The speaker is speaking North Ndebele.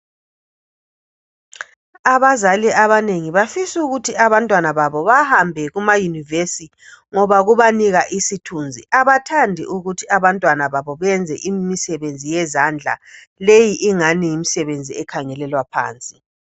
Abazali abanengi bafisukuthi abantwana babo bahambe kumayunivesithi ngoba kubanika isithunzi abathandi ukuthi abantwana babo benze imisebenzi yezandla leyi ingani yimisebenzi ekhangelelwa phansi.